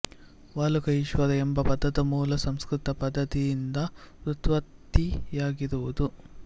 ವಾಲುಕಾ ಈಶ್ವರ ಎಂಬ ಪದದ ಮೂಲ ಸಂಸ್ಕೃತ ಪದದಿಂದ ವ್ಯುತ್ಪತ್ತಿಯಾಗಿರುವುದು